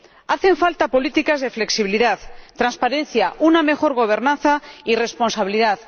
Hacen falta políticas de flexibilidad, transparencia, una mejor gobernanza y responsabilidad.